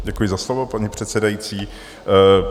Děkuji za slovo, paní předsedající.